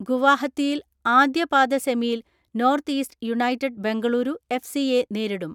ഗുവാഹത്തിയിൽ ആദ്യപാദ സെമി യിൽ North East United Bengaluru F സിയെ നേരിടും.